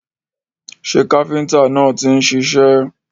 Ṣé káfíntà náà ti ń ṣiṣẹ́?